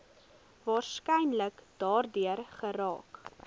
waarskynlik daardeur geraak